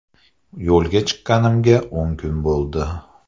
Yo‘lga chiqqanimga o‘n kun bo‘ldi.